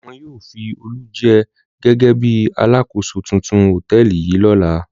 Wọn yóò fi Olú jẹ gẹ́gẹ́ bí alákòóso tuntun hòtẹ́ẹ́lì yìí lọ́la.